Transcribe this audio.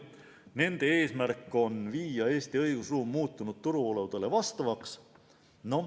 Nende eesmärk on viia Eesti õigusruum muutunud turuoludele vastavaks.